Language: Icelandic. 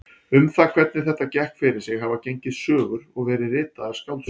Um það hvernig þetta gekk fyrir sig hafa gengið sögur og verið ritaðar skáldsögur.